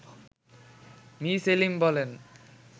me Selim বলেন